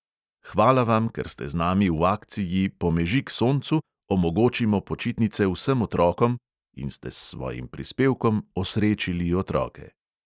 Hvala vam, ker ste z nami v akciji "pomežik soncu: omogočimo počitnice vsem otrokom!" in ste s svojim prispevkom osrečili otroke.